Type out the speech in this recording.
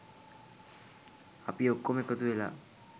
අපි ඔක්කොම එකතුවෙලා